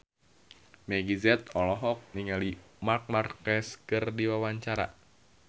Meggie Z olohok ningali Marc Marquez keur diwawancara